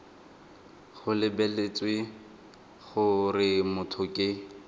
go lebeletswe gore motho ke